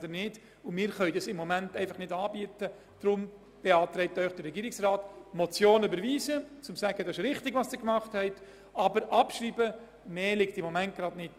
Deshalb beantragt Ihnen der Regierungsrat, die Motion zwar zu überweisen, um auszudrücken, dass diese Entlastung wichtig ist, aber sie abzuschreiben, weil im Moment nicht mehr drinliegt.